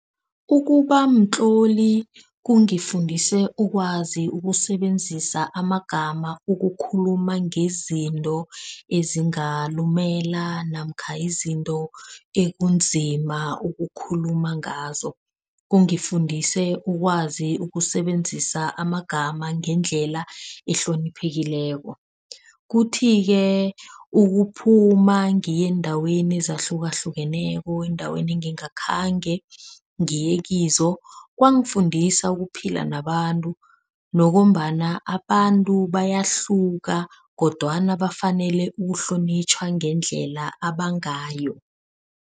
Ukuba mtloli kungifundise ukwazi ukusebenzisa amagama ukukhuluma ngezinto ezingalumela namkha izinto ekunzima ukukhuluma ngazo. Kungifundise ukwazi ukusebenzisa amagama ngendlela ehloniphekileko. Kuthi-ke ukuphuma ngiye eendaweni ezahlukahlukeneko, endaweni engingakhange ngiye kizo. Kwangifundisa ukuphila nabantu, nokobana abantu bayahluka kodwana bafanele ukuhlonitjhwa ngendlela abanganayo.